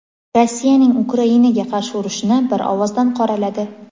Rossiyaning Ukrainaga qarshi urushini bir ovozdan qoraladi.